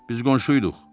Biz qonşu iduq.